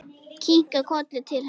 Kinkar kolli til hennar.